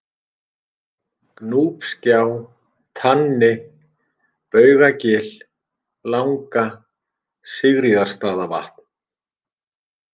Gnúpsgjá, Tanni, Baugagil langa, Sigríðarstaðavatn